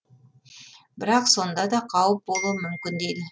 бірақ сонда да қауіп болуы мүмкін дейді